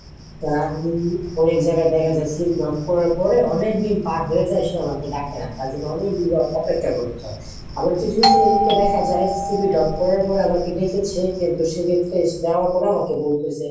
যারা অনেক জায়গায় দেখা যায় CV drop করার পরে অনেকদিন পার হয়ে যায় সে আমাকে ডাকে নাহ কাজে অনেকদিন যাবৎ অপেক্ষা করতে হয়। আবার কিছু কিছু ক্ষেত্রে দেখা যায় CV drop করার পরে আমাকে ডেকেছে কিন্তু সেক্ষেত্রে যাওয়ার পরে আমাকে বলতো সে